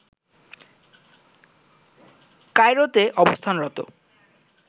কায়রোতে অবস্থানরত